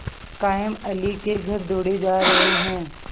कायमअली के घर दौड़े जा रहे हैं